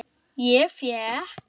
Ég fékk